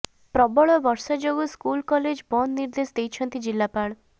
ପ୍ରବଳ ବର୍ଷା ଯୋଗୁ ସ୍କୁଲ କଲେଜ ବନ୍ଦ ନିର୍ଦ୍ଦେଶ ଦେଇଛନ୍ତି ଜିଲ୍ଲାପାଳ